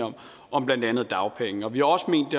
om blandt andet dagpengene vi har også ment